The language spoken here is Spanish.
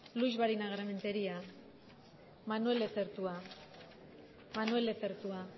luix barinagarrementeria manuel lezertua manuel lezertua